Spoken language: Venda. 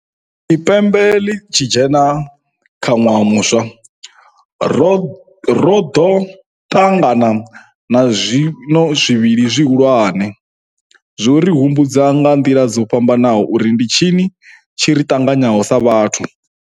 Tshi pembe ḽi tshi dzhena kha ṅwaha muswa, ro ḓo ṱa ngana na zwiwo zwivhili zwihulwane zwo ri hu mbudzaho nga nḓila dzo fhambanaho uri ndi tshini tshi ri ṱanganyaho sa vhathu.